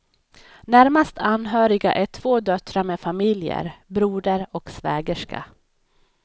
Närmast anhöriga är två döttrar med familjer, broder och svägerska.